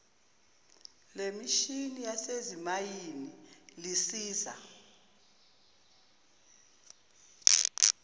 lemishini yasezimayini lisiza